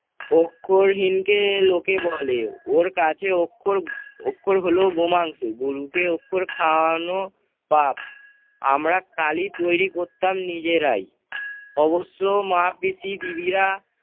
অক্ষরহীনকে লোকে বলে ওর কাছে অক্ষর অক্ষর হলো বোমাংশু, গরুকে অক্ষর খাওয়ানো পাপ। আমরা কালি তৈরী করতাম নিজেরাই, অবশ্য মা তিথি বিবিরা